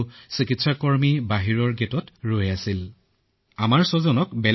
আৰু চিকিৎসকসকলে যথেষ্ট সহায় কৰিলে আমাৰ সৈতে সুন্দৰ ব্যৱহাৰ কৰিলে